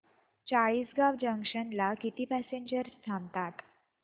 Chalisgaon junction ला किती passengers थांबतात